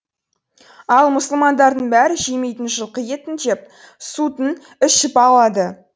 ал мұсылмандардың бәрі жемейтін жылқы етін жеп сутін ішіп алады